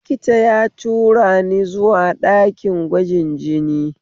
Likita ya turani zuwa ɗakin gwajin jini